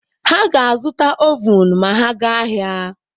Ha ga-azụta ovun ma ha gaa ahịa.